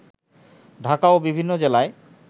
ঢাকা ও বিভিন্ন জেলায়